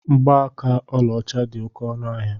Mgbaaka ọlaọcha dị oké ọnụ ahịa.